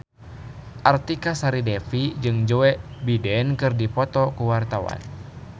Artika Sari Devi jeung Joe Biden keur dipoto ku wartawan